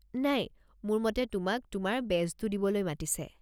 নাই, মোৰ মতে তোমাক তোমাৰ বেজটো দিবলৈ মাতিছে।